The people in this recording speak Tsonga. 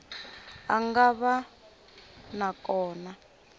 a nga va na kona